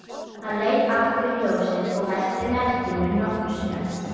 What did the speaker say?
Hann leit aftur í ljósið og velti merkinu nokkrum sinnum.